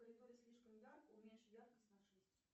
в коридоре слишком ярко уменьши яркость на шесть